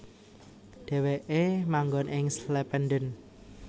Dhèwèké manggon ing Slependen